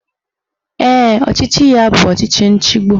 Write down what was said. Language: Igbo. Ee, ọchịchị ya bụ ọchịchị nchigbu